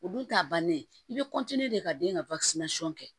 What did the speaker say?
O dun t'a bannen ye i bɛ de ka den ka kɛ